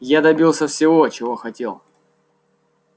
я добился всего чего хотел